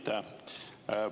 Aitäh!